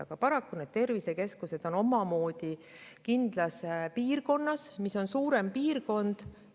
Aga paraku need tervisekeskused on kindlas piirkonnas, suuremas piirkonnas.